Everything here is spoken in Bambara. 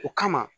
O kama